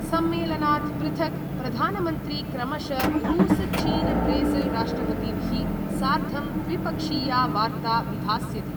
सम्मेलनात् पृथक् प्रधानमन्त्री क्रमश रूस् चीन ब्रेजिल् राष्ट्रपतिभिः सार्धं द्विपक्षीया वार्ता विधास्यति।